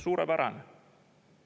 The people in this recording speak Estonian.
Suurepärane!